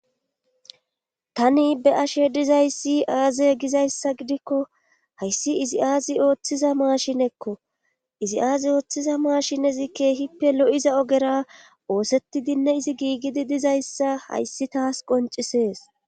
tani be'ashe dizaysi aaze gizayssa gidikko hayssi izi aazi ooththiza maashinekko izi aazi ooththiza maashinezi keehippe lo'iza ogera oosetidinne izi giigidi dizayssa hayssi taas qoncisees